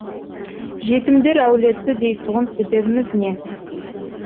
жетімдер әулеті дейтұғын себебіміз не